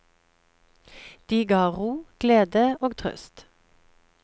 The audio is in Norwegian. De ga ro, glede og trøst.